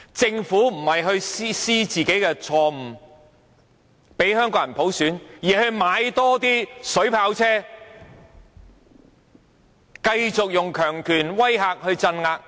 政府沒有反思自己的錯誤，讓香港人有普選，反而採購水炮車，繼續用強權威嚇和鎮壓。